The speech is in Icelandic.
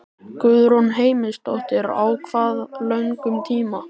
Guðrún Heimisdóttir: Á hvað löngum tíma?